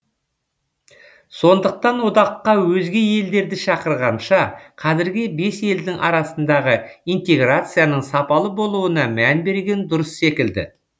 сондықтан одаққа өзге елдерді шақырғанша қазіргі бес елдің арасындағы интеграцияның сапалы болуына мән берген дұрыс секілді